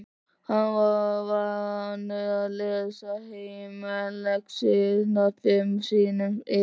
Hann er vanur að lesa heimalexíurnar fimm sinnum yfir.